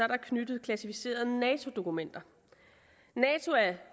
knyttet klassificerede nato dokumenter nato er